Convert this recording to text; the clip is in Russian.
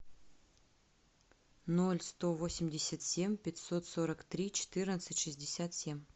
ноль сто восемьдесят семь пятьсот сорок три четырнадцать шестьдесят семь